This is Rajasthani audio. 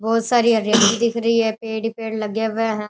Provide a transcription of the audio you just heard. बहुत सारी हरियाली दिख रही है पेड़ ही पेड़ लगे हुए हैं।